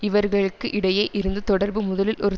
இவர்களுக்கு இடையே இருந்து தொடர்பு முதலில் ஒரு